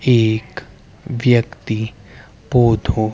एक व्यक्ति पौधों--